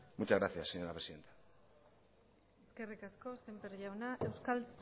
muchas gracias señora presidenta eskerrik asko semper jauna euskal